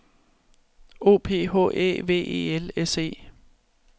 O P H Æ V E L S E